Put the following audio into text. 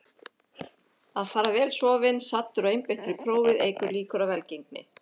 Að fara vel sofinn, saddur og einbeittur í prófið eykur líkur á velgengni.